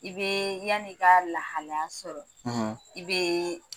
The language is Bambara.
I bɛ yanni k'a lahalaya sɔrɔ, , i be